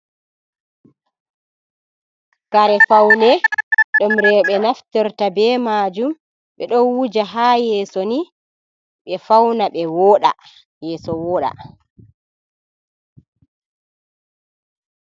Kare faune ɗum rooɓe naftorta be majum, ɓeɗo wuja ha yeso ni ɓe fauna ɓe woɗa yeso woɗa.